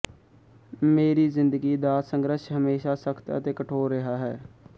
ਮੇਰੀ ਜਿੰਦਗੀ ਦਾ ਸੰਘਰਸ਼ ਹਮੇਸ਼ਾ ਸਖਤ ਅਤੇ ਕਠੋਰ ਰਿਹਾ ਹੈ